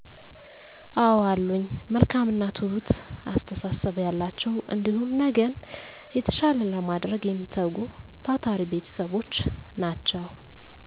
አወ አሉኝ መልካም እና ትሁት አስተሳሰብ ያላቸው እንዲሁም ነገን የተሻለ ለማድረግ የሚተጉ ታታሪ ቤተሰቦች ናቸው።